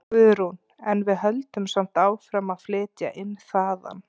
Guðrún: En við höldum samt áfram að flytja inn þaðan?